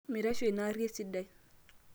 mitasho ina arri esidai